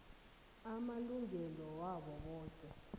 amalungelo wabo boke